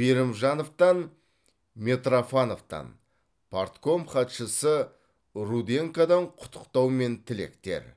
берімжановтан митрофановтан партком хатшысы руденкодан құттықтау мен тілектер